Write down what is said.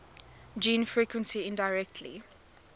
gene frequency indirectly